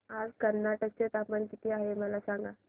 आज कर्नाटक चे तापमान किती आहे मला सांगा